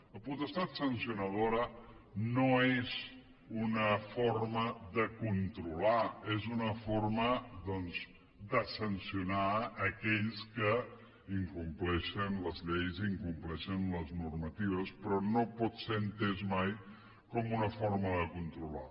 la potestat sancionadora no és una forma de controlar és una forma doncs de sancionar aquells que incompleixen les lleis incompleixen normatives però no pot ser entesa mai com una forma de controlar